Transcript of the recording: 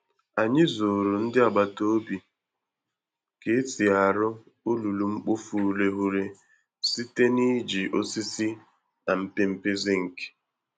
Anyị zụrụ ndị agbata obi ka e si arụ olulu-mkpofu-ureghure site n'iji osisi na mpempe zinc.